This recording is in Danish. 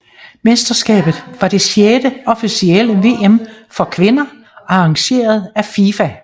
Mesterskabet var det sjette officielle VM for kvinder arrangeret af FIFA